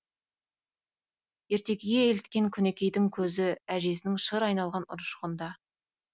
ертегіге еліткен күнікейдің көзі әжесінің шыр айналған ұршығында